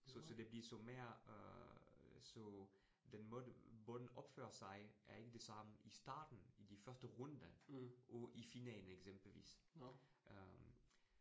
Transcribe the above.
Så så det bliver så mere øh, så den måde bolden opfører sig, er ikke det samme i starten i de første runder og i finalen eksempelvis øh